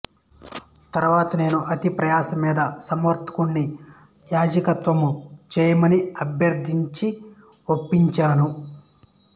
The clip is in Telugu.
తరువాత నేను అతిప్రయాస మీద సంవర్తనుడిని యాజకత్వము చేయమని అభర్ధించి ఒప్పించాను